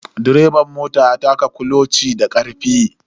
Direban ya taka kuloci da karfe.